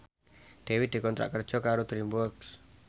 Dewi dikontrak kerja karo DreamWorks